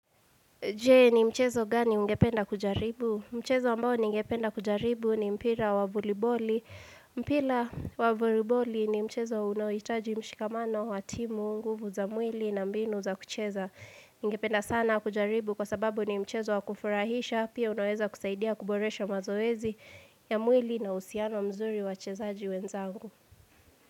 Je, ni mchezo gani ungependa kujaribu? Mchezo ambao ningependa kujaribu ni mpira wa voliboli. Mpila wavoliboli ni mchezo unaoitaji mshikamano watimu, nguvu za mwili na mbinu za kucheza. Ningependa sana kujaribu kwa sababu ni mchezo wakufurahisha. Pia unaweza kusaidia kuboresha mazoezi ya mwili na uhusiano mzuri wachezaji wenzangu.